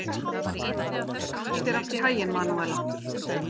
Gangi þér allt í haginn, Manúella.